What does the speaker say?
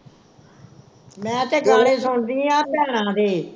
ਮੈਂ ਤੇ ਗਾਣੇ ਸੁਣਦੀ ਆ ਭੈਣਾਂ ਦੇ